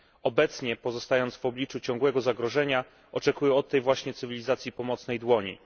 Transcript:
Obecnie, pozostając w obliczu ciągłego zagrożenia, oczekują od tej właśnie cywilizacji pomocnej dłoni.